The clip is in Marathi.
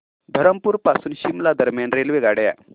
धरमपुर पासून शिमला दरम्यान रेल्वेगाड्या